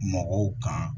Mɔgɔw kan